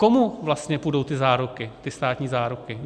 Komu vlastně půjdou ty záruky, ty státní záruky?